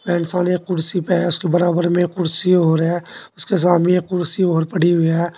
ये इंसान एक कुर्सी पे है उसके बराबर में एक कुर्सी और है उसके सामने एक कुर्सी और पड़ी हुई है।